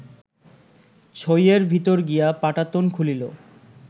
ছইয়ের ভিতরে গিয়া পাটাতন খুলিল